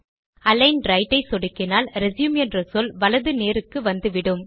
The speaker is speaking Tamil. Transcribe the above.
அலிக்ன் ரைட் ஐ சொடுக்கினால் ரெச்யூம் என்ற சொல் வலது நேருக்கு வந்துவிடும்